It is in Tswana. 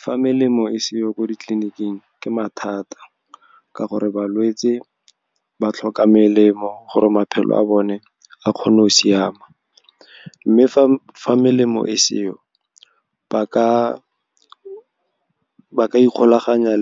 Fa melemo e seyo ko ditleliniking, ke mathata, ka gore balwetse ba tlhoka melemo gore maphelo a bone a kgone go siama. Mme fa melemo e seyo, ba ka ikgolaganya